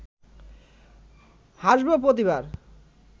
হাসব প্রতিবার